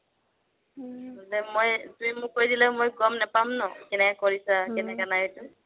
মানে মই তুমি মোক কৰি দিলে গ'ম নেপাম ন কেনেকে কৰিছা কেনেকে নাই সেইটো